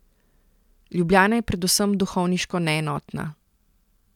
Ljubljana je predvsem duhovniško neenotna.